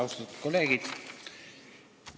Austatud kolleegid!